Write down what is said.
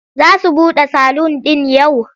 Za su buɗe salun ɗin yau?